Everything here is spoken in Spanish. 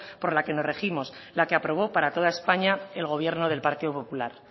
por la que nos regimos la que aprobó para toda españa el gobierno del partido popular